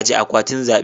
Ajiye akwatin zaɓe.